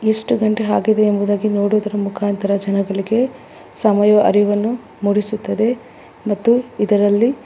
ಎಷ್ಟು ಗಂಟೆ ಆಗಿದೆ ಎಂಬುದಾಗಿ ನೋಡುವುದರ ಮುಖಾಂತರ.